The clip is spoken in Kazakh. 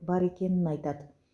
бар екенін айтады